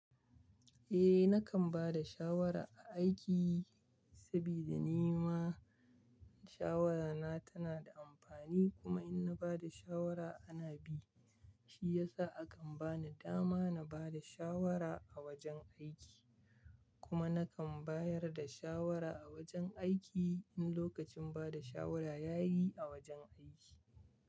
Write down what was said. Eh, nakan ba da shawara a aiki sabida ni ma shawarana tana da amfani kuma in na ba da shawara ana bi, shi yasa a kan bani dama na ba da shawara a wajen aiki. Kuma nakan bayar da shawara a wajen aiki in lokacin bada shawara ya yi a wajen aiki.